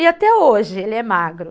E até hoje ele é magro.